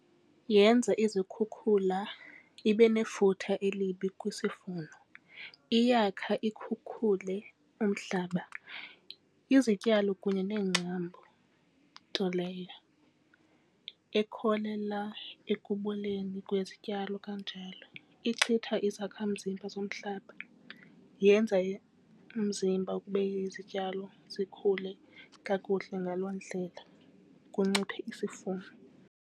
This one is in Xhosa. Yenza izikhukhula ibe nefuthe elibi kwisivuno, iyakha ikhukhule umhlaba izityalo kunye neengcambu, nto leyo ekholela ekuboleni kwezityalo kanjalo. Ixhwitha izakhamzimba zomhlaba, yenza umzimba ukuba izityalo zikhule kakuhle, ngaloo ndlela kunciphe isivuno.